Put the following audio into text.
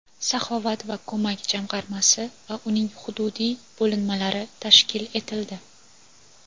"Saxovat va ko‘mak" jamg‘armasi va uning hududiy bo‘linmalari tashkil etildi.